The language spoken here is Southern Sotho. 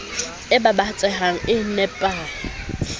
e baba tsehang e nepahe